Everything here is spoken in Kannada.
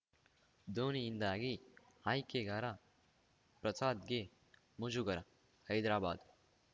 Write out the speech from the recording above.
ಧೋನಿಯಿಂದಾಗಿ ಆಯ್ಕೆಗಾರ ಪ್ರಸಾದ್‌ಗೆ ಮುಜುಗರ ಹೈದರಾಬಾದ್‌